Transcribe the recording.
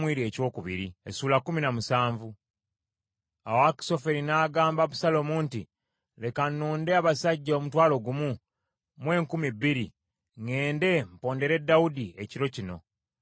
Awo Akisoferi n’agamba Abusaalomu nti, “Leka nnonde abasajja omutwalo gumu mu enkumi bbiri, ŋŋende mpondere Dawudi ekiro kino.